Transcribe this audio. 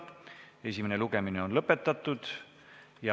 Esimene lugemine on lõppenud.